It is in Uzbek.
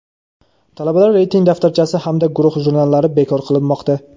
Talabalar reyting daftarchasi hamda guruh jurnallari bekor qilinmoqda.